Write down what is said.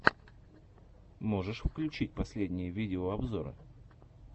можешь включить последние видеообзоры